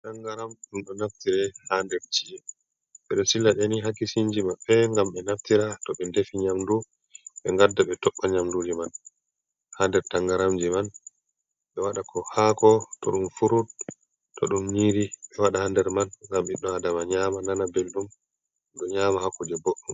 Tangaram, ɗum ɗo naftire ha nder chi'e. Ɓe ɗo sila ɗi ni haa kishinji maɓɓe ngam ɓe naftira, to ɓe ndefi nyamdu, ɓe ngadda, ɓe toɓɓira nyamdu man ha nder tangaramji man, ɓe waɗa ko haako, to ɗum furut, to ɗum nyiri ɓe waɗa ha nder man ngam biɗɗo Adama nyama nana belɗum, ɗum nyama haa kuje boɗɗum.